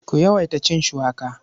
Ku yawaita cin shuwaka.